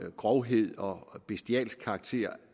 grovhed og bestialsk karakter